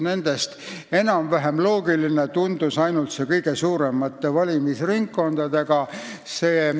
Nendest enam-vähem loogiline tundub ainult see kõige suuremate valimisringkondadega skeem.